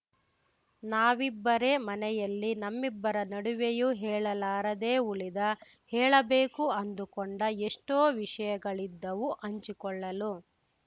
ನಾವಿಬ್ಬರೇ ಮನೆಯಲ್ಲಿ ನಮ್ಮಿಬ್ಬರ ನಡುವೆಯೂ ಹೇಳಲಾರದೇ ಉಳಿದ ಹೇಳಬೇಕು ಅಂದುಕೊಂಡ ಎಷ್ಟೋ ವಿಷಯಗಳಿದ್ದವು ಹಂಚಿಕೊಳ್ಳಲು